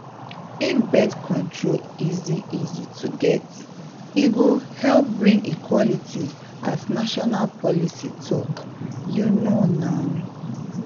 if birth control easy easy to get e go help bring equality as national policy talk — you know na!